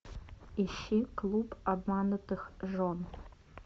ищи клуб обманутых жен